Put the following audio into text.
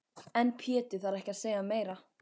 En Pétur þarf ekki að segja meira.